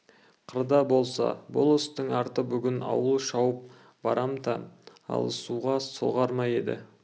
қырда болса бұл істің арты бүгін ауыл шауып барымта алысуға соғар ма еді